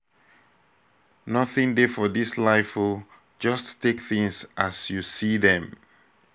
nothing dey for dis life oo just take things as you see dem.